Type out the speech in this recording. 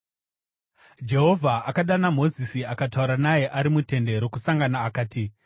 Jehovha akadana Mozisi akataura naye ari muTende Rokusangana akati,